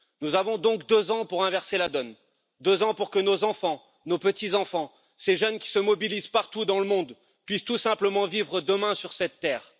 Nous avons donc deux ans pour inverser la donne, deux ans pour que nos enfants, nos petits enfants, ces jeunes qui se mobilisent partout dans le monde, puissent tout simplement vivre demain sur cette Terre.